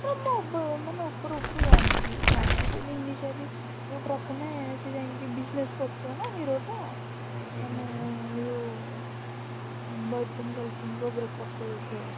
ତ ମୁ ବ ମାନେ ଉପରୁ ଉପରୁ ଜାଣିଛି କ'ଣ ly ଯୋଉ ପ୍ରଥମେ ସେ ଯାଇକି business କରୁଥିବା ନା hero ଟା ମାନେ ଏଇ ଯୋଉ ଉଁ boyfriend girlfriend ଙ୍କ breakup କରଉ ଥିବ